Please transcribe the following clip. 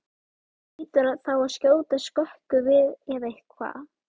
Það hlýtur þá að skjóta skökku við eða hvað?